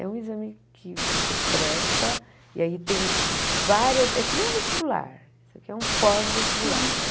É um exame que você presta, e aí tem várias, é que nem um vestibular, isso aqui é um pós-vestibular, né?